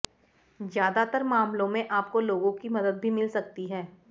ज्यादातर मामलों में आपको लोगों की मदद भी मिल सकती है